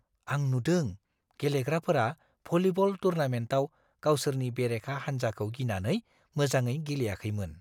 आं नुदों गेलेग्राफोरा भलिब'ल टुर्नामेन्टआव गावसोरनि बेरेखा हानजाखौ गिनानै मोजाङै गेलेयाखैमोन।